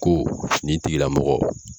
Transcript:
Ko nin tigi la mɔgɔ